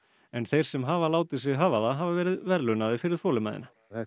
en þeir sem hafa látið sig hafa það hafa verið verðlaunaðir fyrir þolinmæðina það